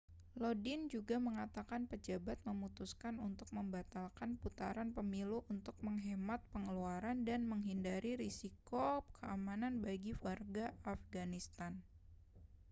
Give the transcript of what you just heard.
lodin juga mengatakan pejabat memutuskan untuk membatalkan putaran pemilu untuk menghemat pengeluaran dan menghindari risiko keamanan bagi warga afghanistan